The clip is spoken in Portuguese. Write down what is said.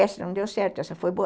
Essa não deu certo, essa foi boa.